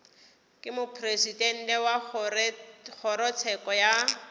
ke mopresidente wa kgorotsheko ya